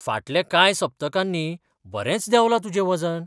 फाटल्या कांय सप्तकांनी बरेंच देंवलां तुजें वजन!